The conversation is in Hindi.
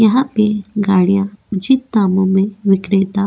यहाँ पे गाड़िया उचित दामों में विक्रेता --